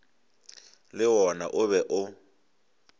le wona o be o